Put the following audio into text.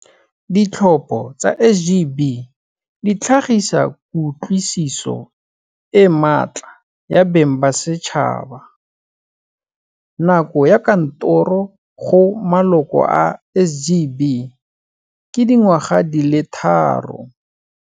Ditlhopho tsa SGB di tlhagisa kutlwisiso e matla ya beng ba setšhaba. Nako ya kantoro go maloko a SGB ke dingwaga di le tharo.